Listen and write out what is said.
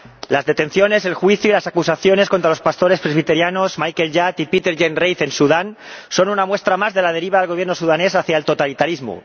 Las detenciones, el juicio y las acusaciones contra los pastores presbiterianos Michael Yat y Peter Yen Reith en Sudán son una muestra más de la deriva del Gobierno sudanés hacia el totalitarismo.